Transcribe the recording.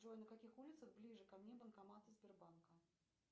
джой на каких улицах ближе ко мне банкоматы сбербанка